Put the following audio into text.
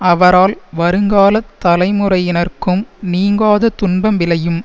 அவரால் வருங்கால தலைமுறையினர்க்கும் நீங்காத துன்பம் விளையும்